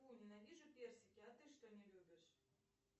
фу ненавижу персики а ты что не любишь